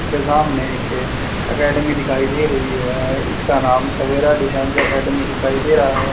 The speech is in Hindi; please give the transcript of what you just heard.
सामने एक एकेडमी दिखाई दे रही है इसका नाम सवेरा डिफेंस एकेडमी दिखाई दे रहा है।